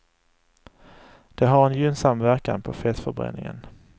Det har en gynnsam verkan på fettförbränningen.